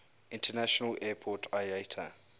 international airport iata